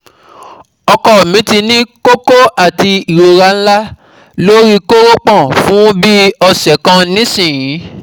Ọkọ mi ti ní kókó àti ìrora ńlá lórí kórópọ̀n fún bí ọ̀sẹ̀ kan nísìn-ín yìí